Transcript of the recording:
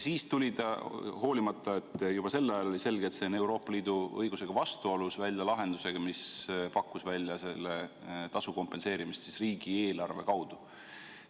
Siis tuli ta – hoolimata sellest, et juba sel ajal oli selge, et see on Euroopa Liidu õigusega vastuolus – välja lahendusega, mis pakkus välja selle tasu kompenseerimist riigieelarve kaudu.